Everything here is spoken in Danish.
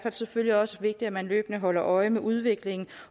selvfølgelig også vigtigt at man løbende holder øje med udviklingen